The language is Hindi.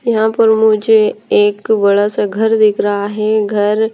यहां पर मुझे एक बड़ा सा घर दिख रहा है घर--